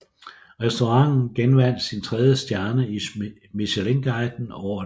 Restauranten genvandt sin tredje stjerne i Michelinguiden året efter